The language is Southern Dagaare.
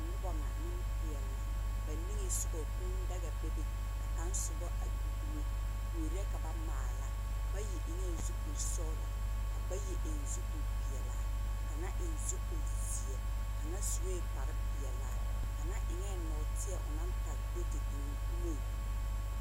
Noba ŋa, nempeɛle la. Ba niŋe soga, kũũ daga bebe. Ka kaŋ soba a gbi dumo. Kuori la ka ba maala. Bayi eŋɛɛ zupil sɔgelɔ ka bayi eŋ zupil peɛla ka kaŋa eŋ zupil zeɛ. Kaŋa sue kpare peɛlaa. Kaŋa eŋɛɛ nɔɔteɛ onaŋtage do te eŋ o dumoŋ.